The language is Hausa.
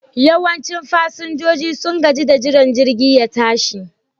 Yawancin fasinjojin sun gaji da jiran jirgin ya tashi